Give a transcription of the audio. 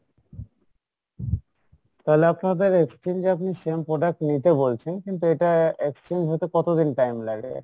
তাহলে আপনাদের exchange এ আপনি same product নিতে বলছেন কিন্তু এটা exchange হতে কত দিন time লাগে?